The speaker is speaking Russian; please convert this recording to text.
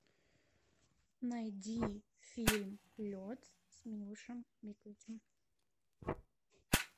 найди фильм лед с милошем биковичем